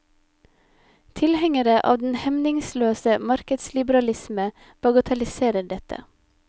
Tilhengere av den hemningsløse markedsliberalisme bagatelliserer dette.